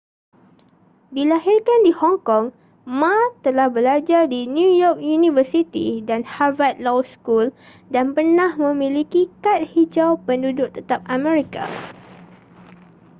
dilahirkan di hong kong ma telah belajar di new york university dan harvard law school dan pernah memiliki kad hijau penduduk tetap amerika